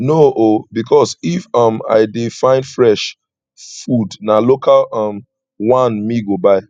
no o because if um i dey find fresh food na local um one me go buy